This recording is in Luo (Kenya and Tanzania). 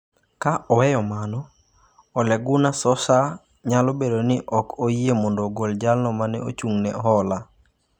Ka oweyo mano, Ole Gunnar Solskjaer nyalo bedo ni ok oyie mondo ogol jalno ma ne ochung’ ne hola